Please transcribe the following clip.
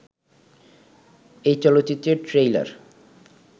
এ চলচ্চিত্রের ট্রেইলার